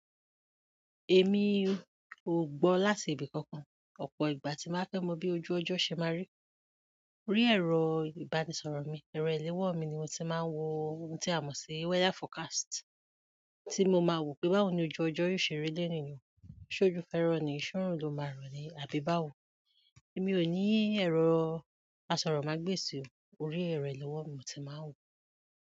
Èmi ò gbọ láti ibìkankan, ọ̀pọ̀ ìgbà tí n bá fẹ́ mọ bí ojú ọjọ́ ṣe máa rí, rí ẹ̀rọ ìbánisọ̀rọ̀ mi, ẹ̀rọ ìléwọ́ mi ni mo ti máa ń wo ohun tí a mọ̀ sí weather forecast tí mo máa wò pé báwo ni ojú ọjọ́ yóò ṣe rí lẹ́yìn yìí. Ṣójò fẹ́ rọ ni, ṣúùrù ló máa rọ ni àbí báwo. Èmi ò ní ẹ̀rọ asọ̀rọ̀mágbèsì, orí ẹ̀rọ ìléwọ́ mi mo ti máa ń wòó.